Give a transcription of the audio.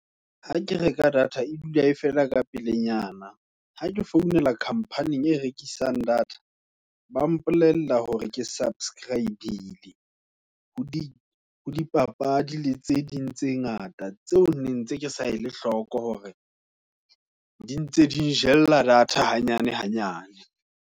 Ha ke reka data e dula e fela ka pelenyana, ha ke founela company-ing e rekisang data ba mpolella hore ke subscribe-le. ho dipapadi le tse ding tse ngata, tseo nentse kesa ele hloko, hore di ntse di njella data hanyane hanyane.